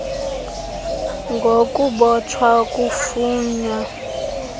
g ukubotshwa okufunwa